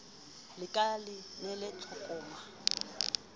la ka le nele tlokoma